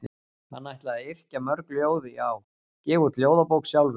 Hann ætlaði að yrkja mörg ljóð já, gefa út ljóðabók sjálfur.